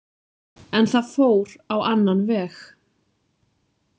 En það fór á annan veg.